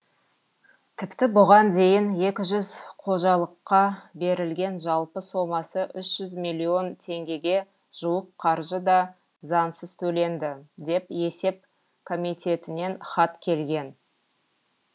тіпті бұған дейін екі жүз қожалыққа берілген жалпы сомасы үш жүз миллион теңгеге жуық қаржы да заңсыз төленді деп есеп комитетінен хат келген